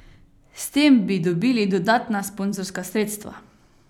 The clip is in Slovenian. S tem bi dobili dodatna sponzorska sredstva.